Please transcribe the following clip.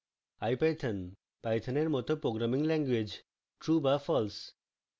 ipython python এর মত programming language true বা false